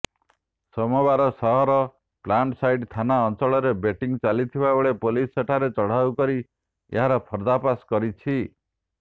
ସୋମବାର ସହରର ପ୍ଲାଣ୍ଟସାଇଟ୍ ଥାନା ଅଞ୍ଚଳରେ ବେଟିଂ ଚାଲିଥିବାବେଳେ ପୁଲିସ ସେଠାରେ ଚଢ଼ାଉ କରି ଏହାର ପର୍ଦ୍ଦାଫାଶ କରିଛି